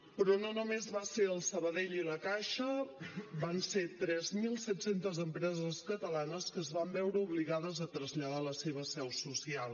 però no només van ser el sabadell i la caixa van ser tres mil set cents empreses catalanes que es van veure obligades a traslladar la seva seu social